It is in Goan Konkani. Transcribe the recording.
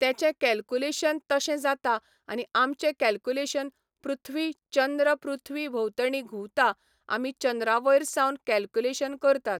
तेंचें कॅल्कुलेशन तशें जाता आनी आमचें कॅल्कुलेशन पृथ्वी, चंद्र पृथ्वी भोंवतणी घुंवता आमी चंद्रा वयर सावन कॅल्कुलेशन करतात.